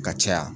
Ka caya